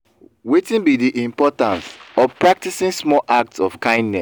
wetin be di importance of practicing small acts of kindness?